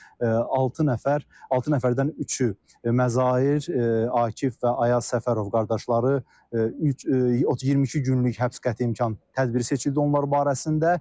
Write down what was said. Və altı nəfər, altı nəfərdən üçü Məzahir, Akif və Ayaz Səfərov qardaşları 22 günlük həbs qəti imkan tədbiri seçildi onlar barəsində.